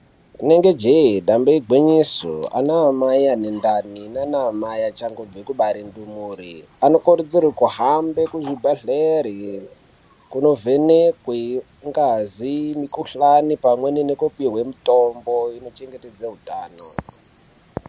Rinonge jee damba igwinyiso, anamai ane ndani nana mai achangobve kubare ndumure anokurudzirwe kuhambe kuzvibhedhlera kunovhenekwi ngazi , mikhuhlani pamweni nekupihwe mitombo inochengetedze utano.